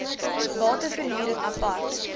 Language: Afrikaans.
bate verhuring apart